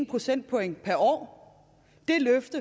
procentpoint per år vi